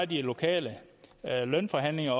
de lokale lønforhandlinger